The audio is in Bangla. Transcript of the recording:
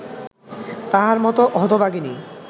তাহার মত হতভাগিনী